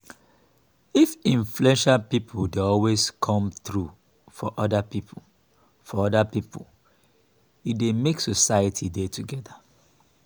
if influential pipo dey always come through for oda pipo for oda pipo e dey make society dey together